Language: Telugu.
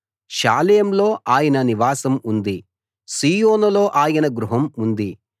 షాలేంలో ఆయన నివాసం ఉంది సీయోనులో ఆయన గృహం ఉంది